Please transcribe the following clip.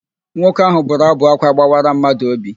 Nwoke ahụ bụrụ ábụ̀ ákwá gbawara madụ óbì.